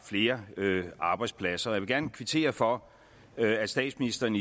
flere arbejdspladser jeg vil gerne kvittere for at statsministeren